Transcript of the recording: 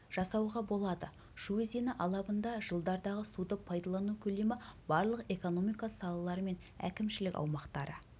жасауға болады шу өзені алабында жылдардағы суды пайдалану көлемі барлық экономика салалары мен әкімшілік аумақтары